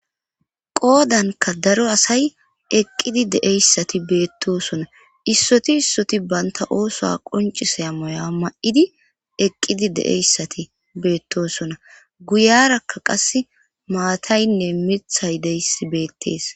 Qoodanka daro asay eqqidi de'iyayssati beettosona issoti issoti banta oosuwa qoncisaya moya ma'di eqqidi de'iyayssati beettosona guyarakka qas maataynne miiththay de'iyaysi beettees